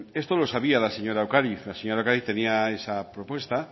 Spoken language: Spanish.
esto lo sabía la señora ocariz la señora ocariz tenía esa propuesta